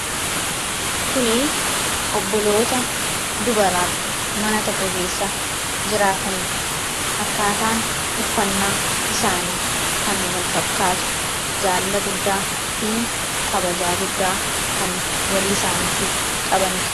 Kuni obboloota dubaraa mana tokko keessa jiraatanidha. Akkaataan uffannaa isaanii kan wal fakkaatu, jaalala guddaa fi kabaja guddaa kan walii isaaniitiif qabanidha.